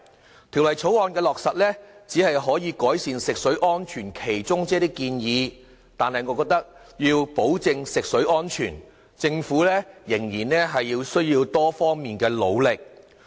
落實《條例草案》，只可以改善食水安全的其中一些建議，但我認為如要保證食水安全，政府仍須作出多方努力。